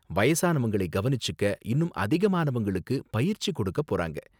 வயசானவங்களை கவனிச்சுக்க இன்னும் அதிகமானவங்களுக்கு பயிற்சி கொடுக்க போறாங்க.